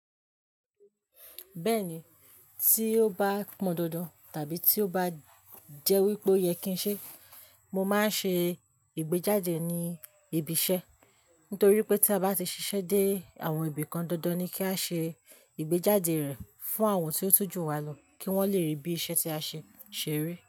Bẹ́ẹ̀ni, tí ó bá pọn dandan tàbí tí ó bá jẹ́ wípé ó yẹ kí ń ṣe, mo máa ń ṣe ìgbéjáde ní ibi iṣẹ́. Nítorí pé tí a bá ti ṣiṣẹ́ dé àwọn ibì kan dandan ni kí a ṣe ìgbéjáde rẹ̀ fún àwọn tí ó tójú wa lọ kí wón le rí bí iṣẹ́ tí a ṣe ṣèrè.